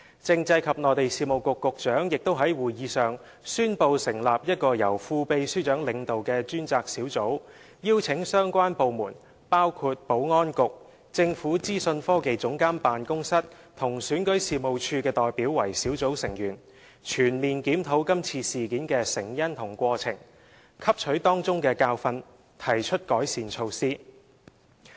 政制及內地事務局局長亦在會議上宣布成立一個由副秘書長領導的專責小組，並邀請相關部門，包括保安局、政府資訊科技總監辦公室和選舉事務處的代表為小組成員，全面檢討這次事件的成因和過程，汲取當中的教訓，提出改善措施。